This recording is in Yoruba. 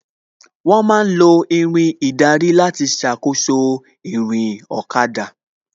Wón ma ń lo Irin ìdarí láti ṣàkóso ìrìn ọ̀kada